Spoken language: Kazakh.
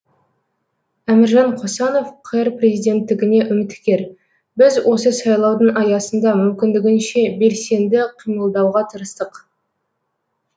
әміржан қосанов қр президенттігіне үміткер біз осы сайлаудың аясында мүмкіндігінше белсенді қимылдауға тырыстық